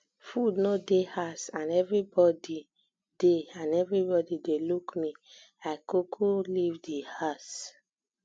food no um dey house and everybody dey and everybody dey look me i kuku leave di house